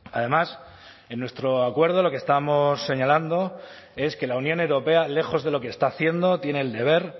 además en nuestro acuerdo lo que estamos señalando es que la unión europea lejos de lo que está haciendo tiene el deber